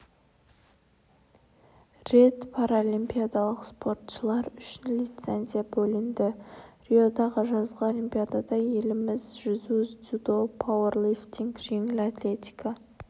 рет паралимпиадалық спортшылар үшін лицензия бөлінді риодағы жазғы олимпиадада еліміз жүзу дзюдо пауэрлифтинг жеңіл атлетика